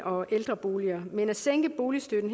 og ældreboliger men at sænke boligstøtten